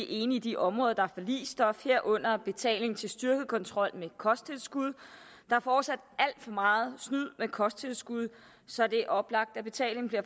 enig i de områder der er forligsstof herunder betaling til styrket kontrol med kosttilskud der er fortsat alt for meget snyd med kosttilskud så det er oplagt at betalingen bliver